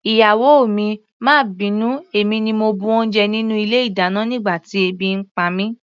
Ìyàwó mi, má bínú, èmi ni mo bu oúnjẹ nínú ilé-ìdáná nígbà tí ebi ń pa mí.